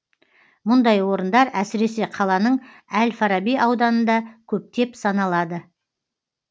мұндай орындар әсіресе қаланың әл фараби ауданында көптеп саналады